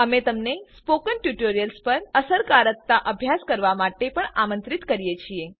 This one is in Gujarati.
અમે તમને સ્પોકન ટ્યુટોરિયલ્સ પર અસરકારકતા અભ્યાસ કરવા માટે પણ આમંત્રિત કરીએ છીએ